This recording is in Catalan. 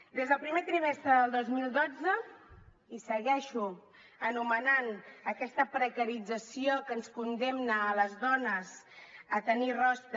des del primer trimestre del dos mil dotze i segueixo anomenant aquesta precarització que ens condemna a les dones a tenir rostre